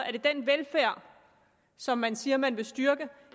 er det den velfærd som man siger man vil styrke